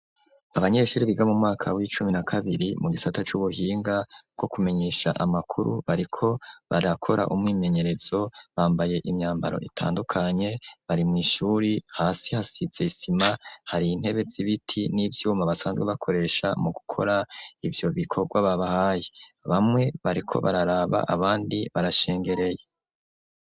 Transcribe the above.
Abanyeshuri biga mu mwaka w'icumi na kabiri mu gisata c'ubuhinga bwo kumenyesha amakuru bariko barakora umwimenyerezo, bambaye imyambaro itandukanye, bari mw'ishuri hasi hasize isima hari intebe z'ibiti n'ivyuma basanzwe bakoresha mu gukora ivyo bikorwa babahaye, bamwe bariko bararaba abandi barashengereye.